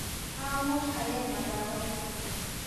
Amuch ayae makawet ni